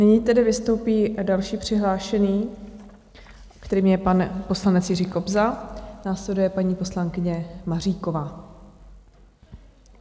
Nyní tedy vystoupí další přihlášený, kterým je pan poslanec Jiří Kobza, následuje paní poslankyně Maříková.